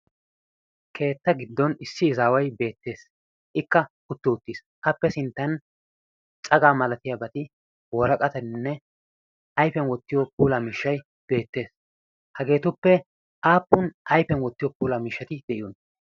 keetta giddon issi izaawai beettees ikka utti uttiis qappe sinttan cagaa malatiyaa bati wooraqataninne ayfiyan wottiyo pula mishshay beettees hageetuppe aappun ayfiyan wottiyo pulaa mishshati de'iyon